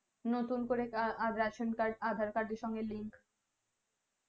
নতুন করে aadhaar card ration card এর link